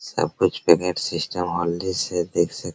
सब कुछ payment system हौले से देख सक --